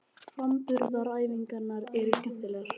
Framburðaræfingarnar eru skemmtilegar.